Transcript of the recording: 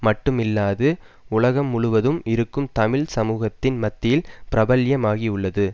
மட்டுமில்லாது உலகம் முழுவதும் இருக்கும் தமிழ் சமூகத்தின் மத்தியில் பிரபல்யமாகியுள்ளது